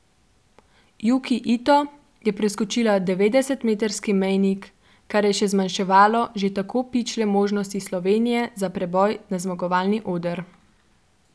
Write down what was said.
Juki Ito je preskočila devetdesetmetrski mejnik, kar je še zmanjševalo že tako pičle možnosti Slovenije za preboj na zmagovalni oder.